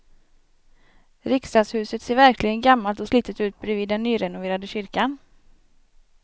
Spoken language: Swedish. Riksdagshuset ser verkligen gammalt och slitet ut bredvid den nyrenoverade kyrkan.